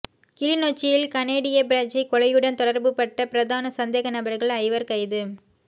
கிளிநொச்சியில் கனேடிய பிரஜை கொலையுடன் தொடர்புபட்ட பிரதான சந்தேகநபர்கள் ஐவர் கைது